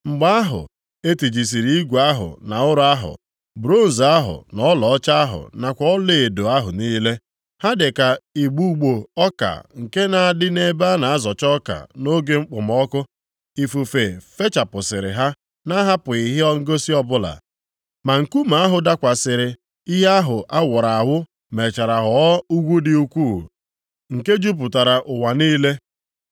Mgbe ahụ, e tijisịrị igwe ahụ na ụrọ ahụ, bronz ahụ na ọlaọcha ahụ nakwa ọlaedo ahụ niile. Ha dịka igbugbo ọka nke na-adị nʼebe a na-azọcha ọka nʼoge okpomọkụ. Ifufe fechapụsịrị ha na-ahapụghị ihe ngosi ọbụla. Ma nkume ahụ dakwasịrị ihe ahụ awuru awu mechara ghọọ ugwu dị ukwuu, nke jupụtara ụwa niile.